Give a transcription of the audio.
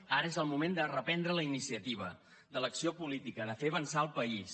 ara és el moment de reprendre la iniciativa de l’acció política de fer avançar el país